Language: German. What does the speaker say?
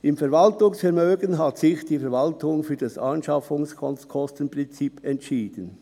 Im Verwaltungsvermögen hat sich die Verwaltung für das Anschaffungskostenprinzip entschieden.